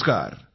नमस्कार